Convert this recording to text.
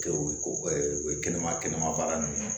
Kɛ u ye ko u ye kɛnɛma kɛnɛma baara ninnu ye